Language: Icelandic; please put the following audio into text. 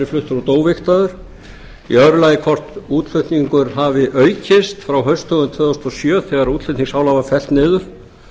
fluttur út óvigtaður í öðru lagi hvort útflutningur hafi aukist frá haustdögum tvö þúsund og sjö þegar útflutningsálag var fellt niður